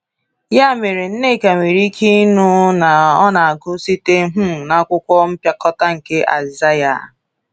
Ya mere, Nneka nwere ike ịnụ na ọ na-agụ site um n’akwụkwọ mpịakọta nke Aịzaya.